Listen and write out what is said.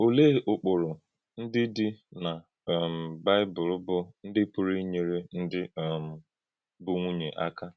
Ọ̀lee ụ̀kpụrụ ndị dị na um Bịbụl bụ́ ndị pụrụ inyere ndị um bụ́ nwùnyè aka?